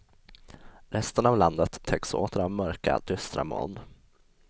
Resten av landet täcks åter av mörka, dystra moln.